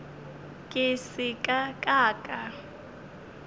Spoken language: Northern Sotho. ke se ka ka ka